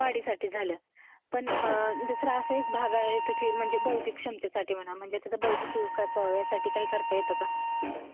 हे त्याच्या वाढीसाठी झालं ?... पण दुसरं असा एक भाग आहे, म्हणजे बौद्धिक क्षमतेसाठी म्हणा, म्हणजे त्याचा बौद्धिक विकास होण्यासाठी काही करतं येतय का?